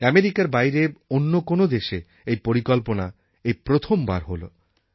আমেরিকার বাইরে অন্য কোনও দেশে এই পরিকল্পনা এই প্রথমবার হল